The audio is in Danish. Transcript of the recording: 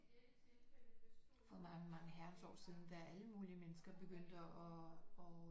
For mange mange herrens år siden da alle mulige mennesker begyndte at